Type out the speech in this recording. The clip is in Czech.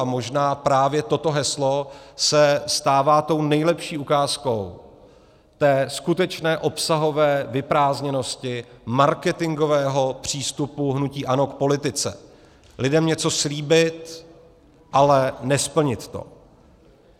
A možná právě toto heslo se stává tou nejlepší ukázkou té skutečné obsahové vyprázdněnosti marketingového přístupu hnutí ANO k politice: lidem něco slíbit, ale nesplnit to.